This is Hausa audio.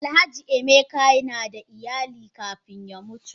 Alhaji emeka nada iyali kafun ya mutu.